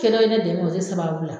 Kɛ dɔ ye ne dɛmɛ o de sababu la